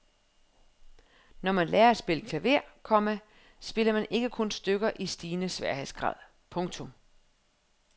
Når man lærer at spille klaver, komma spiller man ikke kun stykker i stigende sværhedsgrad. punktum